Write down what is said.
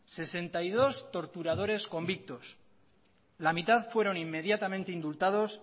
sesenta y dos torturadores convictos la mitad fueron inmediatamente indultados